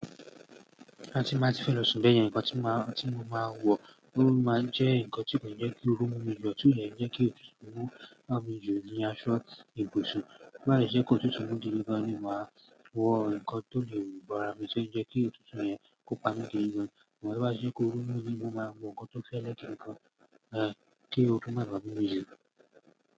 Bóyá tí n bá tí fẹ́ lọ sùn bẹ̀yẹn nǹkan tí mo máa ń wọ, ó máa ń jẹ́ nǹkan tí kò ní jẹ́ kí ooru mú mi jù, tíò ní jẹ́ kí òtútù mú à mi jù ni aṣọ ìbùsùn. Bóbá sì jẹ́ pé òtútù mú gidi gan ni, màá wọ ǹkan tó lè bò ara mi tí ó ní jẹ́ kí òtútù yẹn kó pa mí gidi gan ṣùgbọ́n tó bá ti jẹ́ pé ooru mú ni, mo máa wọ nǹkan tó fẹ́lẹ́ gidi gan kí ooru má bá à mú mí jù.